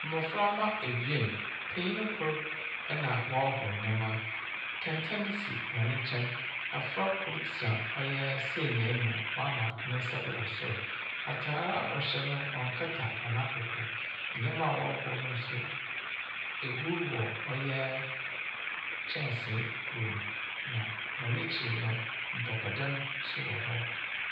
Mɔfraba abien, panyin kor nna wɔhur ndɛma. Kɛntɛn si wɔne nkyɛn. Afrɛ kor tena ɔyɛ senya mu a wama nensa do wɔ soro. Atar wɔhyɛ no ɔnkata wɔn akuku do. Ndɛma wɔɔhru no, ehru wɔ kyɛnsii mu na wɔn akyi no mpapa dan ɛwɔ hɔ.